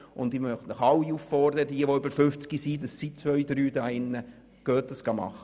Und ich möchte alle hier, die über 50-jährig sind, auffordern, sich untersuchen zu lassen.